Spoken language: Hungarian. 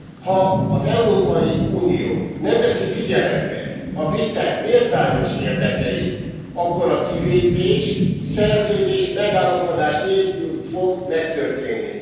Ha az Európai Unió nem veszi figyelembe a britek méltányos érdekeit, akkor a kilépés szerződés megállapodás nélkül fog megtörténni.